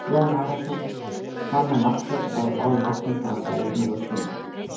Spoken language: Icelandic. Jón Arason fann að Marteinn var á báðum áttum svo hann sagði:-Nú er stundin!